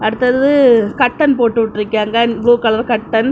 அடுத்தது கர்ட்டன் போட்டு விட்டுருக்காங்க ப்ளூ கலர் கர்ட்டன் .